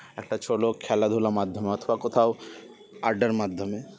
একটা ছোলো খেলাধুলার মাধ্যমে অথবা কোথাও আড্ডার মাধ্যমে